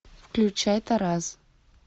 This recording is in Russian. включай тарас